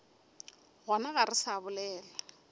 gona ga re sa bolela